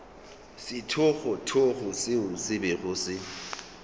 sethogothogo seo se bego se